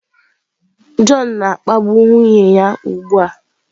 John na-akpagbu nwunye ya ugbu a!